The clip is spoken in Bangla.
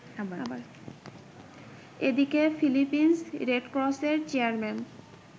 এদিকে, ফিলিপিন্স রেডক্রসের চেয়ারম্যান